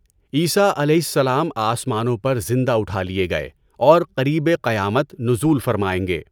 عیسٰی علیہ السلام آسمانوں پر زندہ اٹھا لئے گئے اور قریبِ قیامت نزول فرمائیں گے۔